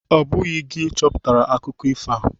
Ọ bụghị gị cheputara akụkọ ifo a